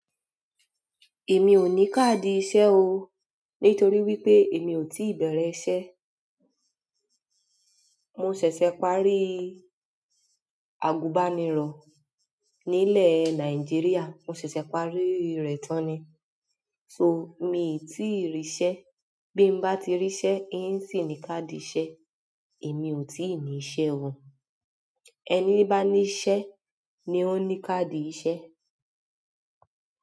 Èmi ò ní káàdì iṣẹ́ o. Nítorí wípé èmi ò tíì bẹ̀rẹ̀ iṣẹ́. Mo ṣẹ̀ṣẹ̀ parí àgùbànirọ̀ nílẹ̀ Nàìjíríà, mo ṣẹ̀ṣẹ̀ parí rẹ̀ tán ni. Mii ti ríi iṣẹ́ ti mo ba ti ri iṣẹ́ mi o si ni card iṣẹ́. Èmi ò tíì ní iṣẹ́ o. Ẹni bá ní iṣẹ́ ni ó ní káàdì iṣẹ́.